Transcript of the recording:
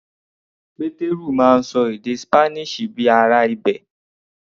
Pétérù máa ń ṣọ èdè Spanish bíi ará ibẹ̀.